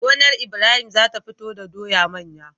Gonar Ibrahim zata fito do doya manya